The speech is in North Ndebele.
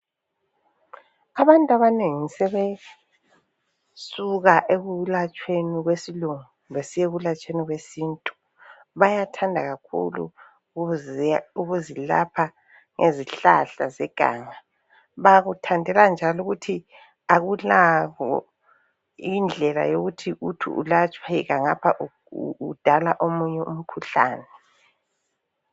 Abantu abanengi sebesuka ekulatshweni kwesilungu besiya ekulatshweni kwesintu. Bayathanda kakhulu ukuzilapha ngezihlahla zeganga bakuthandela njalo ukuthi akulakho indlela yokuthi ulapheka ngapha udala omunye umkhuhlane.